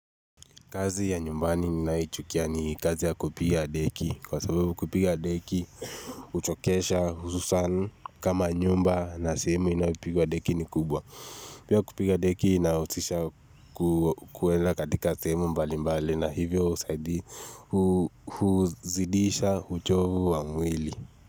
Kazi ya nyumbani ninayoichukia ni kazi ya kupiga deki. Kwa sababu kupiga deki, uchokesha hususan kama nyumba na sehemu inayopigwa deki ni kubwa. Pia kupiga deki inahusisha kuenda katika sehemu mbalimbali na hivyo husaidia kuzidisha uchovu wa mwili.